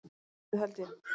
Dálítið, held ég.